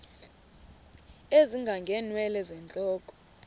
ezinga ngeenwele zentloko